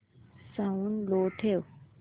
sound low ठेव